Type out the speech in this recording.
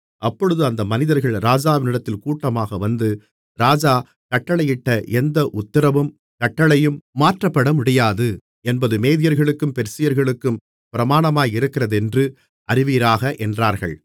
அப்பொழுது அந்த மனிதர்கள் ராஜாவினிடத்தில் கூட்டமாக வந்து ராஜா கட்டளையிட்ட எந்த உத்திரவும் கட்டளையும் மாற்றப்படமுடியாது என்பது மேதியர்களுக்கும் பெர்சியர்களுக்கும் பிரமாணமாயிருக்கிறதென்று அறிவீராக என்றார்கள்